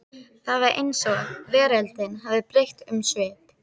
Það var eins og veröldin hefði breytt um svip.